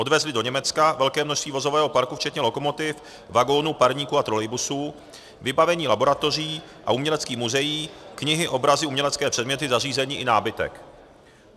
Odvezli do Německa velké množství vozového parku včetně lokomotiv, vagonů, parníků a trolejbusů, vybavení laboratoří a uměleckých muzeí, knihy, obrazy, umělecké předměty, zařízení i nábytek.